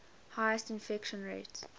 highest infection rate